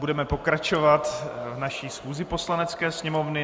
Budeme pokračovat v naší schůzi Poslanecké sněmovny.